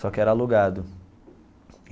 Só que era alugado.